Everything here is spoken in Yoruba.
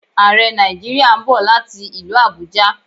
Àrẹ Nàìjíríà ń bọ̀ láti ilú Àbújá